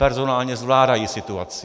Personálně zvládají situaci.